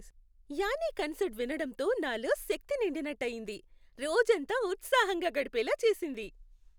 Annie concert వినడంతో నాలో శక్తి నిండినట్టు అయింది, రోజంతా ఉత్సాహంగా గడిపేలా చేసింది.